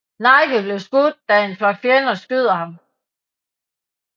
Nigel bliver skudt da en flok fjender skyder ham